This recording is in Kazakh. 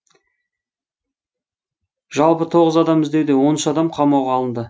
жалпы тоғыз адам іздеуде он үш адам қамауға алынды